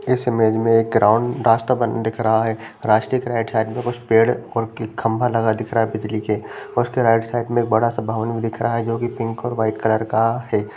इस इमेज में एक ग्राउंड रास्ता बन दिख रहा है| रास्ते के राइट साइड में कुछ पेड़ और खंबा लगा दिख रहा है बिजली के उसके राइट साइड एक बड़ा सा भवन भी दिख रहा है जो की पिंक और वाइट कलर का है।